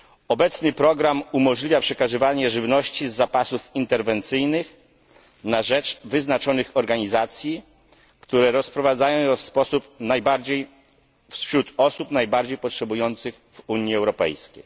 Obecny program umożliwia przekazywanie żywności z zapasów interwencyjnych na rzecz wyznaczonych organizacji, które rozprowadzają ją wśród osób najbardziej potrzebujących w Unii Europejskiej.